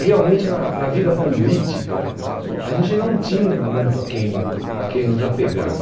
Realmente, na na vida política, a gente não tinha muito a quem a quem nos apegar.